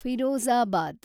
Firozabad